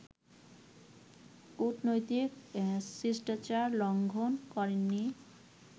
কুটনৈতিক শিষ্টাচার লঙ্ঘন করেননি